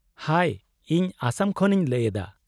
-ᱦᱟᱭ, ᱤᱧ ᱟᱥᱟᱢ ᱠᱷᱚᱱ ᱤᱧ ᱞᱟᱹᱭ ᱮᱫᱟ ᱾